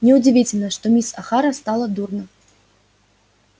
неудивительно что мисс охара стало дурно